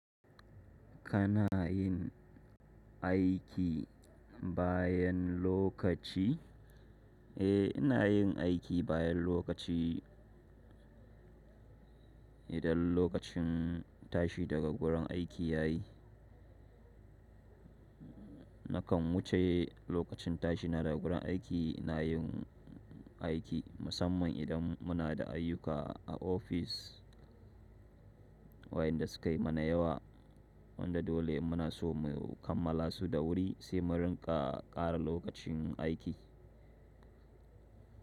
Kana yin aiki bayan lokaci? Eh, ina yin aiki bayan lokaci idan lokacin tashi daga gurin aiki ya yi. Nakan wuce lokacin tashi na daga gurin aiki, ina yin aiki musamman idan muna da ayyuka a ofis wayanda su kai mana yawa wanda dole muna so mu kammala su da wuri sai mu riƙa ƙara lokacin aiki.